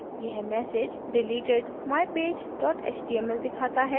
यह message deleted: mypage html दिखाता है